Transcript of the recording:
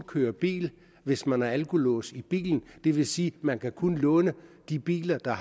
køre bil hvis man har alkolås i bilen det vil sige at man kan kun låne de biler der